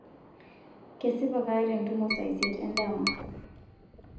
kesipa kaata entumo saa isiet endama